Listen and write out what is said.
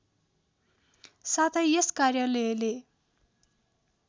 साथै यस कार्यालयले